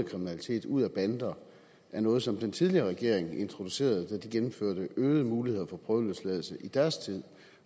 kriminalitet ud af bander er noget som den tidligere regering introducerede da de gennemførte øgede muligheder for prøveløsladelse i deres tid